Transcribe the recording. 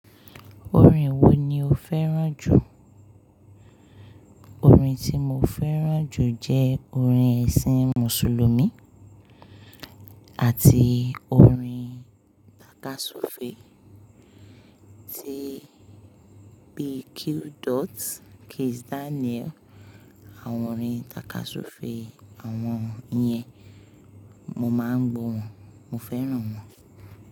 Orin wo ni o fẹ́ràn jù? Orin tí mo fẹ́ràn jù jẹ́ orin ẹ̀sìn Mùsùlùmí àti orin takasofe tí P Q Dot, Kizz Daniel àwọn orin takasofe àwọn yẹn, mo máa ń gbọ̀ wọ́n, mo fẹ́ràn wọ́n.